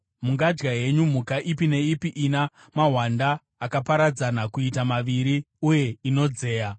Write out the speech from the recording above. Mungadya henyu mhuka ipi neipi ina mahwanda akaparadzana kuita maviri uye inodzeya.